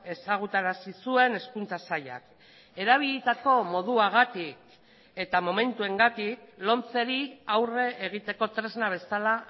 ezagutarazi zuen hezkuntza sailak erabilitako moduagatik eta momentuengatik lomceri aurre egiteko tresna bezala